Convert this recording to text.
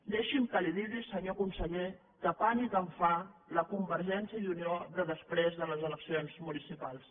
deixi’m que li digui senyor conseller que pànic em fa la convergència i unió de després de les eleccions municipals